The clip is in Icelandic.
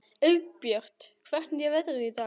Auðbjört, hvernig er veðrið í dag?